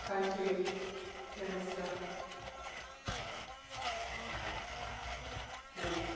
Vážená paní předsedkyně, vážená paní poslankyně, vážené dámy a pánové,